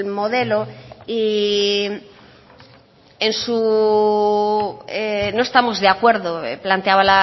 modelo y en su no estamos de acuerdo planteaba